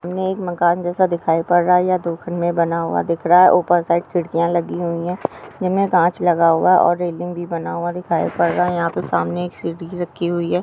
हमे एक मकान जैसा दिखाई पड़ रहा है या बना हुआ दिख रहा उपर साईड खिड्किया लगी हुई है जिनमें काच लगा हुआ और रेलिंग भी बना हुआ दिखाई पड़ रहा है यह पे सामने एक सीडी भी रखी हुई है।